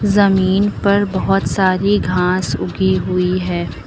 जमीन पर बहुत सारी घास उगी हुई है।